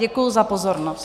Děkuji za pozornost.